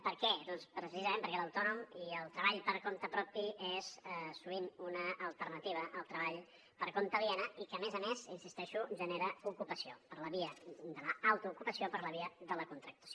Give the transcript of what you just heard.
per què doncs precisament perquè l’autònom i el treball per compte propi és sovint una alternativa al treball per compte aliè i que a més a més hi insisteixo genera ocupació per la via de l’autoocupació o per la via de la contractació